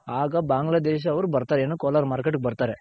ಆಗ ಬಾಂಗ್ಲ ದೇಶದವ್ರ್ ಬರ್ತಾರೆ ಏನು ಕೋಲಾರ Market ಗೆ ಬರ್ತಾರೆ.